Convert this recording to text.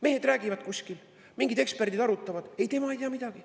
Mehed räägivad kuskil, mingid eksperdid arutavad – ei, tema ei tea midagi.